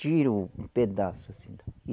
Tirou um pedaço assim da.